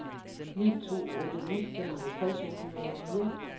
ni to otte ni femoghalvtreds otte hundrede og fire